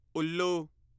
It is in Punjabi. ਉੱਲੂ